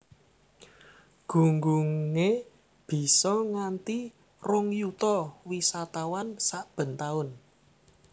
Gunggungé bisa nganti rong yuta wisatawan saben taun